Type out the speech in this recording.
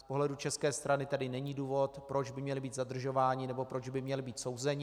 Z pohledu české strany tedy není důvod, proč by měli být zadržováni nebo proč by měli být souzeni.